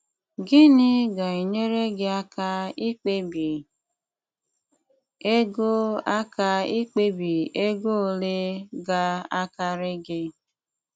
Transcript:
Gịnị ga-enyere gị aka ikpebi ego aka ikpebi ego ole ga-akarị gị?